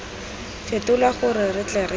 fetolwa gore re tle re